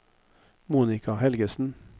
Monica Helgesen